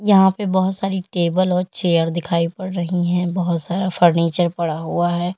यहां पे बहोत सारी टेबल और चेयर दिखाई पड़ रही है बहोत सारा फर्नीचर पड़ा हुआ है।